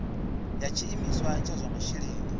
ya tshiimiswa tsha zwa masheleni